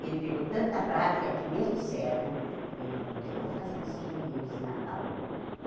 Ele pegou tanta prática que, mesmo cego, ele continuou fazendo esses joguinhos de Natal.